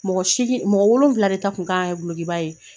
Mɔgɔ seegin mɔgɔ wolonwula de ta tun kan ka kɛ dolokiba ye.